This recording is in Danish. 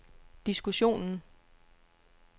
diskussionen